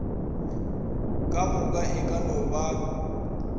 kamoka e ka no ba